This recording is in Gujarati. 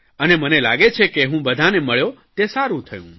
અને મને લાગે છે કે હું બધાંને મળ્યો તે સારૂં થયું